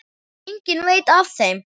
Enginn veit af þeim.